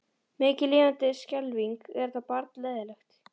Mikið lifandis skelfing er þetta barn leiðinlegt.